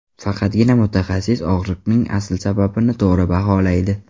Faqatgina mutaxassis og‘riqning asl sababini to‘g‘ri baholaydi.